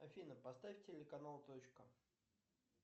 афина поставь телеканал точка